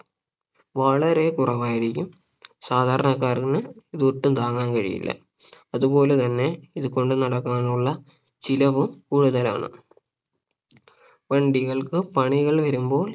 വളരെ കുറവായിരിക്കും സാദാരണക്കാരാണ് ഇതൊട്ടും താങ്ങാൻ കഴിയില്ല അതുപോലെ തന്നെ ഇത് കൊണ്ടുനടക്കാനുള്ള ചിലവും കൂടുതലാണ് വണ്ടികൾക്ക് പണികൾ വരുമ്പോൾ